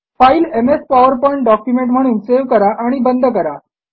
file MS PowerPoint document म्हणून save करा आणि बंद करा